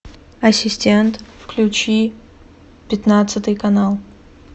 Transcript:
ассистент включи пятнадцатый канал